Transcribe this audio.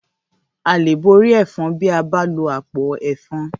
À lè borí ẹ̀fan bí a bá lo àpò ẹ̀fan.